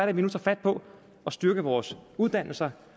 at vi nu tager fat på at styrke vores uddannelser